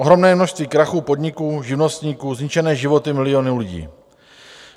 Ohromné množství krachů podniků, živnostníků, zničené životy milionů lidí.